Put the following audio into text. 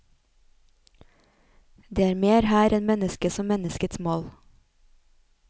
Det er mer her enn mennesket som menneskets mål.